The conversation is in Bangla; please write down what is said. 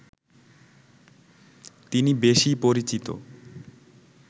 তিনি বেশি পরিচিত